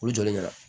U jɔlen ɲɛna